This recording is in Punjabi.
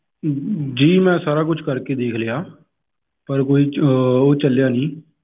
ਜੀ ਮੈਂ ਸਾਰਾ ਕੁਸ਼ ਕਰ ਕੇ ਦੇਖ ਲਿਆ ਪਰ ਕੋਈ ਅਹ ਉਹ ਚੱਲਿਆ ਨੀ